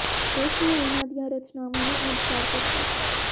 ਉਸ ਨੇ ਉਨ੍ਹਾਂ ਦੀਆਂ ਰਚਨਾਵਾਂ ਨੂੰ ਅੱਡ ਕਰ ਦਿੱਤਾ